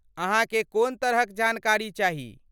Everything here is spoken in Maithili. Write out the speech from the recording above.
अहाँके कोन तरहक जानकारी चाही?